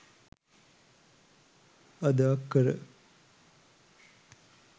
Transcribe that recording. අද අක්කර